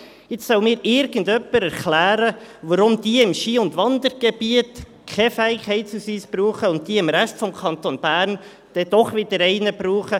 Jetzt soll mir irgendjemand erklären, warum diese im Ski- und Wandergebiet keinen Fähigkeitsausweis brauchen und jene im Rest des Kantons Berns dann doch wieder einen.